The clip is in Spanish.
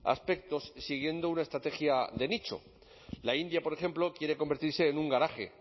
aspectos siguiendo una estrategia de nicho la india por ejemplo quiere convertirse en un garaje